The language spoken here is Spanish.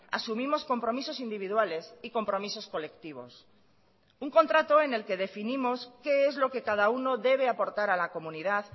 asumimos compromisos individuales y compromisos colectivos un contrato en el que definimos qué es lo que cada uno debe aportar a la comunidad